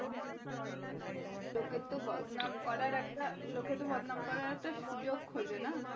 হ্যাঁ লোকে কে তো বদনাম করার একটা লোকে কে তো বদনাম করার একটা সুযোগ খোজে। না?